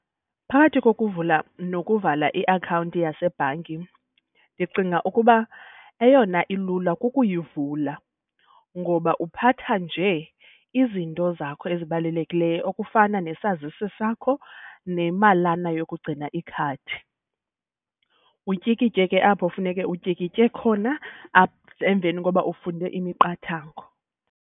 Phakathi kokuvula nokuvala iakhawunti yasebhanki ndicinga ukuba eyona ilula kukuyivula. Ngoba uphatha nje izinto zakho ezibalulekileyo okufana nesazisi sakho nemalana yokugcina ikhadi, utyikitye ke apho funeke utyikitye khona emveni koba ufunde imiqathango.